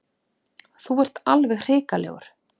Þú ert alveg hrikalegur.